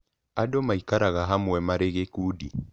Andũ maikaraga hamwe marĩ gĩkundi.